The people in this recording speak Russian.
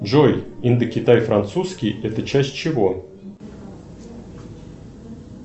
джой индокитай французский это часть чего